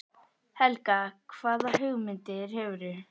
Helga: Hvaða hugmyndir hefurðu?